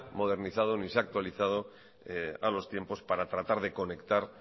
modernizado ni se ha actualizado a los tiempos para tratar de conectar